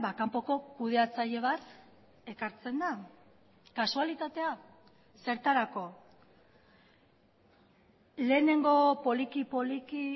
kanpoko kudeatzaile bat ekartzen da kasualitatea zertarako lehenengo poliki poliki